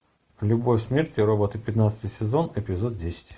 любовь смерть и роботы пятнадцатый сезон эпизод десять